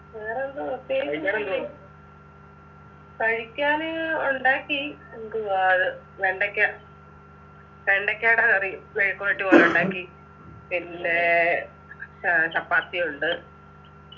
വേറെന്താ പ്രത്യേകിച്ചൊന്നില്ലെ കഴിക്കാന് ഉണ്ടാക്കി എന്തുവാത് വെണ്ടയ്ക്ക വെണ്ടക്കേടെ curry മെഴുക്കുവരട്ടി പോലെ ഉണ്ടാക്കി പിന്നെ ഏർ ചപ്പാത്തിയുണ്ട്